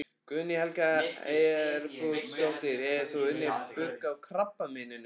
Guðný Helga Herbertsdóttir: Hefur þú unnið bug á krabbameininu?